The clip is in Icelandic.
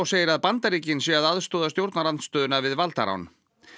segir að Bandaríkin séu að aðstoða stjórnarandstöðuna við valdarán